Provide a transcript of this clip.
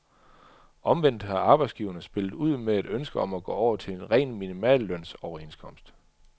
Omvendt har arbejdsgiverne spillet ud med et ønske om at gå over til en ren minimallønsoverenskomst.